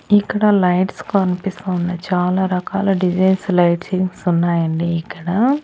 ఇక్కడ లైట్స్ కనిపిస్తూ ఉన్నాయి చాలా రకాల డిజైన్స్ లైటింగ్స్ ఉన్నాయండి ఇక్కడ.